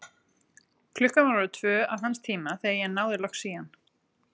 Klukkan var orðin tvö að hans tíma, þegar ég náði loks í hann.